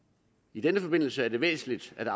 i denne forbindelse er det væsentligt at